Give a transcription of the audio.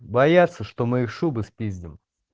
боятся что мы их шубы спиздим